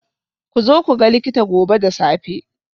Ku zo ku ga likita gobe da safe.